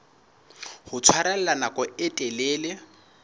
ho tshwarella nako e telele